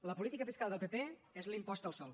la política fiscal del pp és l’impost al sòl